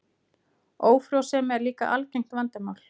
Ófrjósemi er líka algengt vandamál.